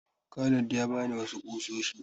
Khalid ya ba ni wasu ƙusoshi.